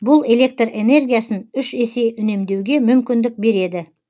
бұл электр энергиясын үш есе үнемдеуге мүмкіндік береді